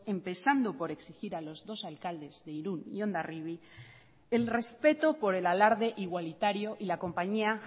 empezando por exigir a los dos alcaldes de irun y hondarribi el respeto por el alarde igualitario y la compañía